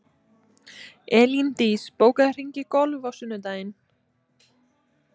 Elíndís, bókaðu hring í golf á sunnudaginn.